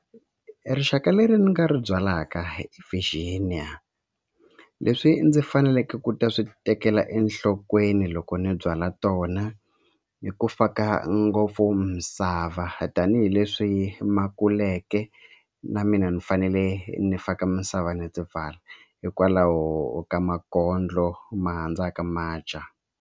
Rixaka leri ni nga ri byalaka leswi ndzi faneleke ku ta swi tekela enhlokweni loko ni byala tona i ku faka ngopfu misava tanihileswi ma kuleke na mina ni fanele ni faka misava ni ti pfala hikwalaho ka makondlo ma handzaka ma dya.